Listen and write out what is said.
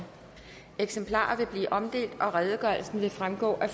eksemplarer vil blive omdelt og redegørelsen vil fremgå af